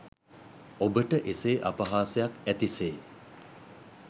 ඔබට එසේ අපහාසයක් ඇති සේ